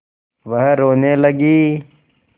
वह रोने लगी